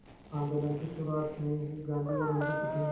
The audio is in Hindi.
आंदोलन की शुरुआत में ही गांधी और उनकी पत्नी